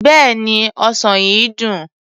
Bẹ́ẹ̀ni, ọsàn yìí dùn.